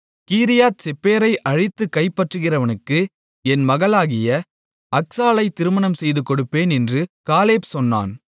கீரியாத்செப்பேரை அழித்துக் கைப்பற்றுகிறவனுக்கு என் மகளாகிய அக்சாளைத் திருமணம் செய்துகொடுப்பேன் என்று காலேப் சொன்னான்